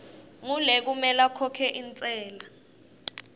ngulekumele akhokhe intsela